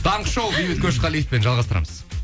таңғы шоу бейбіт көшқалиевпен жалғастырамыз